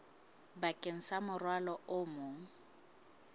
bakeng sa morwalo o mong